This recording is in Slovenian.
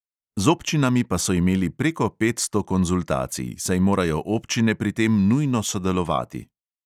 Z občinami pa so imeli preko petsto konzultacij, saj morajo občine pri tem nujno sodelovati.